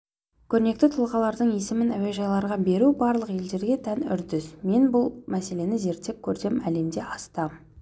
көрнекті тұлғалардың есімін әуежайларға беру барлық елдерге тән үрдіс мен бұл мәселені зерттеп көрсем әлемде астам